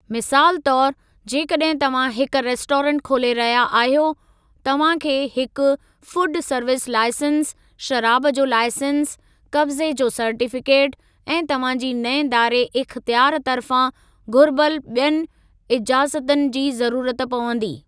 मिसाल तौरु, जेकॾहिं तव्हां हिकु रेस्टोरेंट खोले रहिया आहियो, तव्हां खे हिक फुड सर्विस लाइसेंस, शराब जो लाइसेंस, क़ब्ज़े जो सर्टीफ़िकेट, ऐं तव्हां जी नईं दायरे इख़्तियारु तर्फ़ां घुर्बल ॿियनि इजाज़तनि जी ज़रूरत पवंदी।